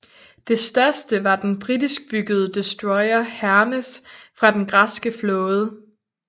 Det største var den britiskbyggede destroyer Hermes fra den græske flåde